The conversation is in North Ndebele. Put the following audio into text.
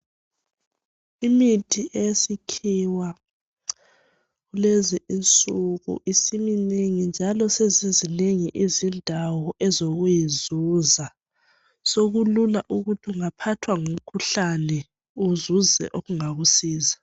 imithi eyesikhiwa lezi insuku isiminengi njalo sezizinengi izindawo ezokuyizuza sokulula ukuthi ungaphathwa ngumkhuhlane uzuze okungakusiza